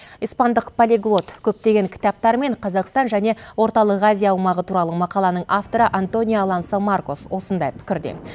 испандық полиглот көптеген кітаптар мен қазақстан және орталық азия аумағы туралы мақаланың авторы антонио алансо маркос осындай пікірде